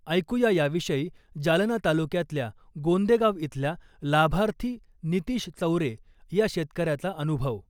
ऐकू या या विषयी जालना तालुक्यातल्या गोंदेगाव इथल्या लाभार्थी नितिश चौरे या शेतकऱ्याचा अनुभव ......